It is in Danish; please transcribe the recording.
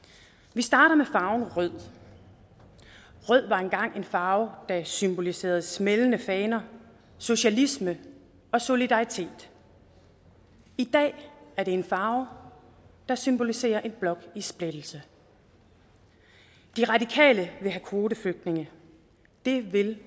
vi starter med farven rød rød var engang en farve der symboliserede smældende faner socialisme og solidaritet i dag er det en farve der symboliserer en blok i splittelse de radikale vil have kvoteflygtninge det vil